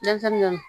Denmisɛnnin dɔ